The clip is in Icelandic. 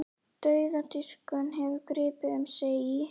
Dauðadýrkun hefur gripið um sig í